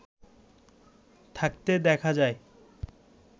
থাকতে দেখা যায়